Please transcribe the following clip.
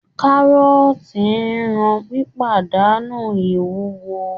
Kárọ́ọ̀tì ń ran pípàdánù ìwúwo